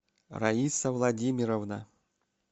раиса владимировна